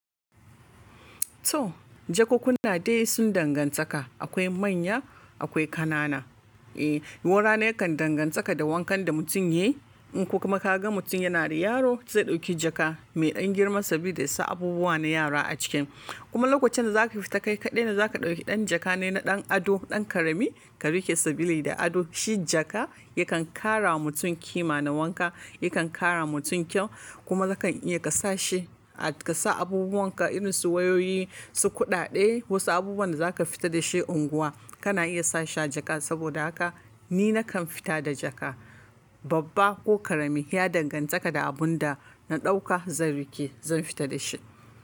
To jakunkuna dai sun dangantaka. Akwai manya akwai ƙanana. Eh, ruwa rana yakan danganta da wankan da mutum yake. In kuma ka ga mutum yana da yaro zai ɗauki jaka mai ɗan girma saboda yasa abubuwa na yara a ciki. Kuma lokacin da za ka fita ka kaɗai da za ka ɗauki ɗan jaka ne na ɗan ado, ɗan karami ka rike sabili da ado. Shi jaka yakan ƙara wa mutum kima na wanka, yakan ƙara mutum kyau kuma yakan iya ka sa shi, ka sa abubuwan ka irin su wayoyi, su kuɗaɗe, wasu abubuwan da za ka fita da shi unguwa kana iya sa shi a jaka. Saboda haka ni na kan fita da jaka. Babba ko ƙarami, ya dangantaka da abun da na ɗauka zan rike, zan fita da shi.